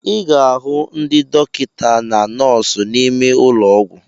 I ga-ahu ndị dọkịta na nọọsụ n'ime ụlọ ọgwụ.